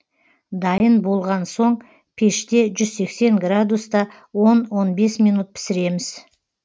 дайын болған соң пеште жүз сексен градуста он он бес минут пісіреміз